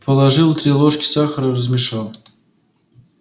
положил три ложки сахара размешал